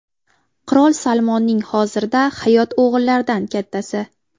Qirol Salmonning hozirda hayot o‘g‘illaridan kattasi.